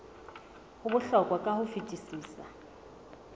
ho bohlokwa ka ho fetisisa